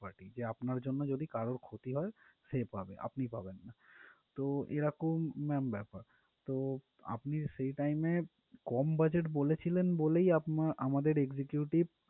Party যে আপনার জন্য যদি কারোর ক্ষতি হয় সে পাবে আপনি পাবেন না তো এরকম ma'am ব্যাপার তো আপনি সেই time এ কম budget বলেছিলেন বলেই আপনার আমাদের executive